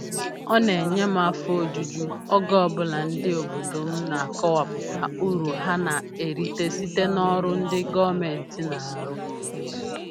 Ọ na-enye m afọ ojuju oge ọbụla ndị obodo m na-akọwapụta uru ha na-erite site n'ọrụ ndị gọọmentị na-arụ